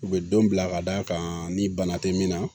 U bɛ don bila ka d'a kan ni bana tɛ min na